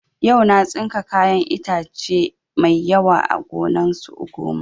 Yau na tsinka kayan itace mai yawa a gonan su ugoma